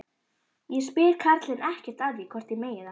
Ég spyr karlinn ekkert að því hvort ég megi það.